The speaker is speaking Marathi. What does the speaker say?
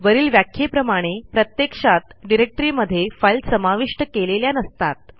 वरील व्याख्येप्रमाणे प्रत्यक्षात डिरेक्टरीमध्ये फाईल समाविष्ट केलेल्या नसतात